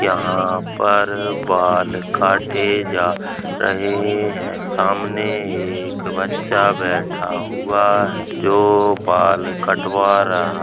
यहाँ पर बाल काटे जा रहे हैं सामने एक बच्चा बैठा हुआ जो बाल कटवा रहा --